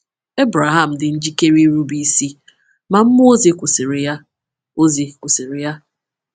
Ebreham dị njikere irube isi, ma mmụọ ozi kwụsịrị ya. ozi kwụsịrị ya.